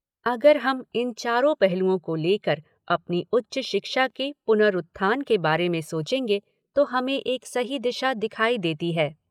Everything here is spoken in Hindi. अगर हम इन चारों पहलुओं को लेकर अपनी उच्च शिक्षा के पुनरूत्थान के बारे में सोचेंगे, तो हमें एक सही दिशा दिखाई देती है।